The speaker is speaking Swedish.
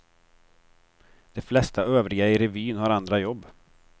De flesta övriga i revyn har andra jobb.